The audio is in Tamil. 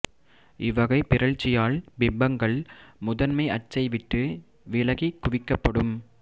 இவ்வகை பிறழ்ச்சியால் பிம்பங்கள் முதன்மை அச்சை விட்டு விலகி குவி்க்கப்படும்